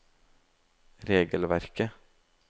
regelverket